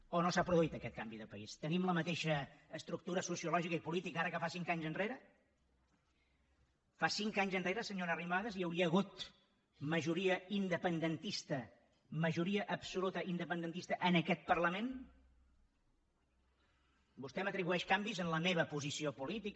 o no s’ha produït aquest canvi de país tenim la mateixa estructura sociològica i política ara que fa cinc anys enrere fa cinc anys enrere senyora arrimadas hi hauria hagut majoria independentista majoria absoluta independentista en aquest parlament vostè m’atribueix canvis en la meva posició política